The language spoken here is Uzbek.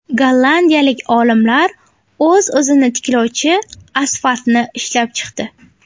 Gollandiyalik olimlar o‘z-o‘zini tiklovchi asfaltni ishlab chiqdi.